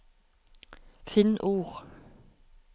Finn ord